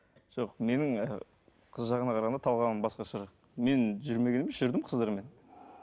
жоқ менің і қыз жағына қарағанда талғамым басқаша мен жүрмегенім жүрдім қыздармен